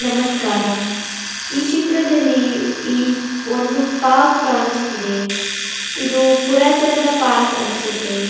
ನಮಸ್ಕಾರ ಈ ಚಿತ್ರದಲ್ಲಿ ಈ ಒಂದು ಪಾರ್ಕ್ ಕಾಣಿಸುತ್ತಿದೆ ಇದು ಪುರಾತನ ಪಾರ್ಕ್ ಅನ್ಸುತ್ತೆ.